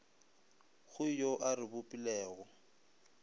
go yo a re bopilego